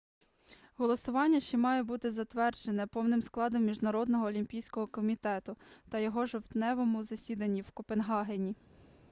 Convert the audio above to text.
голосування ще має бути затверджене повним складом міжнародного олімпійського комітету на його жовтневому засіданні в копенгагені